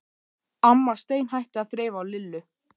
Amma steinhætti að þreifa á Lillu.